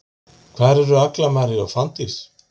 Hvar eru Agla María og Fanndís?